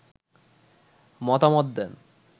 মতামত দেন